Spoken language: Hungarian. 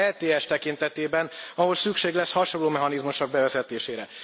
az ETS tekintetében, ahol szükség lesz hasonló mechanizmusok bevezetésére.